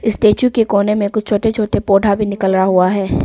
Statue के कोने में कुछ छोटे छोटे पौधा भी निकला हुआ है।